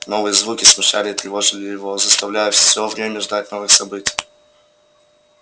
новые звуки смущали и тревожили его заставляя всё время ждать новых событий